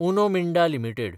Uno Minda limited